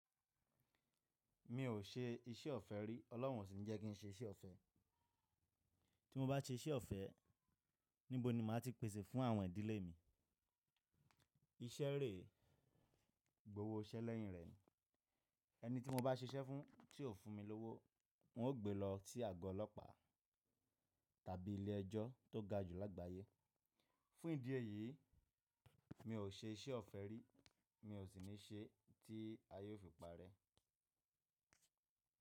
Mi ò ṣe iṣẹ́ ọ̀fẹ́ rí, Ọlọ́run ó sì ńi jẹ́ kí n ṣe iṣẹ́ ọ̀fẹ́. Tí mo bá ṣe iṣẹ́ ọ̀fẹ́, níbo ni màá ti pèsè fún àwọn ìdílé mi? Iṣẹ́ rè, gbówó iṣẹ́ lẹ́yìn rẹ. Ẹni tí mo bá ṣiṣẹ́ fún tí ò fún mi lówó, n ó gbe lọ sí àgọ́ ọlọ́pàá tàbí ilé ẹjọ́ tó ga jù lágbàáyé. Fún ìdí èyí, mi ò ṣe iṣẹ́ ọ̀fẹ́ rí, mi ò sì ní ṣẹ́ tí ayé ó fi parẹ́.